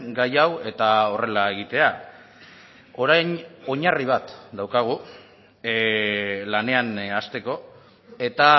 gai hau eta horrela egitea orain oinarri bat daukagu lanean hasteko eta